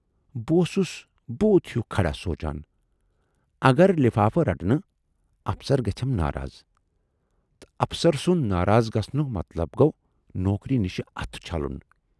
"بہٕ اوسُس بوٗت ہیوٗ کھڑا سوٗنچان"اگر لفافہٕ رٹہٕ نہٕ، افسر گژھٮ۪م ناراض تہٕ افسر سُند ناراض گَژھنُک مطلب گَو نوکری نِش اتھٕ چھلُن۔